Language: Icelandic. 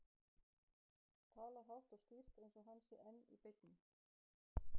Talar hátt og skýrt eins og hann sé enn í beinni.